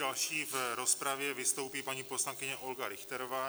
Další v rozpravě vystoupí paní poslankyně Olga Richterová.